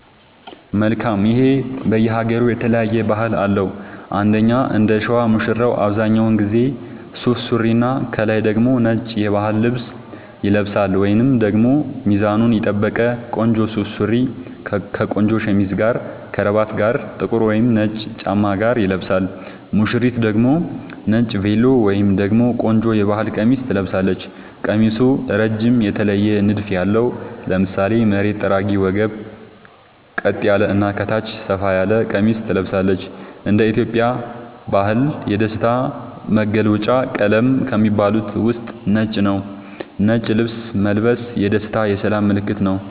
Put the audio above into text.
መልካም ይሄ በየ ሃገሩ የተለያየ ባህል አለው እንደኛ እንደሸዋ ሙሽራው አብዛኛውን ጊዜ ሱፍ ሱሪና ከላይ ደግሞ ነጭ የባህል ልብስ ይለብሳልወይንም ደግሞ ሚዛኑን የጠበቀ ቆንጆ ሱፍ ሱሪ ከቆንጆ ሸሚዝ እና ከረባት ጋር ጥቁር ወይም ነጭ ጫማ ጋር ይለብሳል ሙሽሪት ደግሞ ነጭ ቬሎ ወይም ደግሞ ቆንጆ የባህል ቀሚስ ትለብሳለች ቀሚሱ እረጅም የተለየ ንድፍ ያለው ( ለምሳሌ መሬት ጠራጊ ወገብ ቀጥ ያለ እና ከታች ሰፋ ያለ ቀሚስ ትለብሳለች )እንደ ኢትዮጵያ ባህል የደስታ መገልውጫ ቀለም ከሚባሉት ውስጥ ነጭ ነዉ ነጭ ልብስ መልበስ የደስታ የሰላም ምልክትም ነዉ